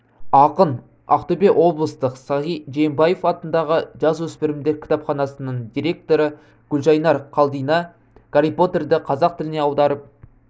ақын ақтөбе облыстық сағи жиенбаев атындағы жасөспірімдер кітапханасының директоры гүлжайнар қалдина гарри поттерді қазақ тіліне аударып